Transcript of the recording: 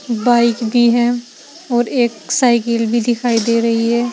Bike भी है और एक साइकिल भी दिखाई दे रही है।